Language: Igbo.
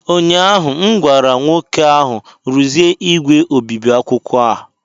ụnyahụ m gwara nwoke ahụ, rụzie igwe obibi akwụkwọ a!